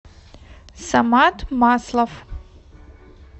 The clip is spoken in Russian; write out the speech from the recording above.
самат маслов